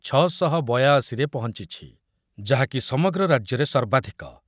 ଛ ଶହ ବୟାଅଶି ରେ ପହଞ୍ଚୁଛି, ଯାହାକି ସମଗ୍ର ରାଜ୍ୟରେ ସର୍ବାଧିକ ।